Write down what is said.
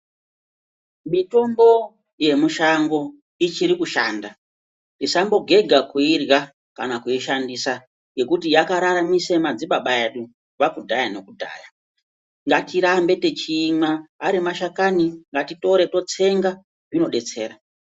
Mitombo yemushango ichiri kushanda usambogega kuirya kana kuishandisa ngekuti yakararamisa madzibaba edu kubva kudhaya nekudhaya ngatirambe techiimwa ari mashakani ngatitore totsenga zvinodetsera.